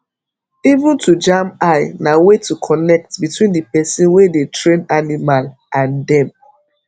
even to jam eye na way to connect between the person wey dey train animal and dem